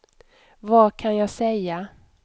vad kan jag säga